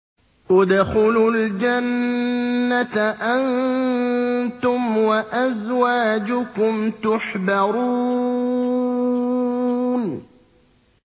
ادْخُلُوا الْجَنَّةَ أَنتُمْ وَأَزْوَاجُكُمْ تُحْبَرُونَ